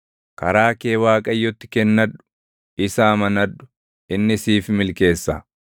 Karaa kee Waaqayyotti kennadhu; isa amanadhu; inni siif milkeessa.